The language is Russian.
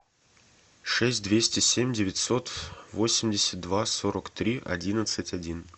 шесть двести семь девятьсот восемьдесят два сорок три одиннадцать один